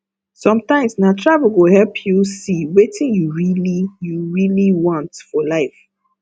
sometimes na travel go help you see wetin you really you really want for life